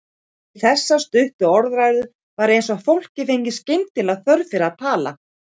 Við þessar stuttu orðræður var eins og fólkið fengi skyndilega þörf fyrir að tala.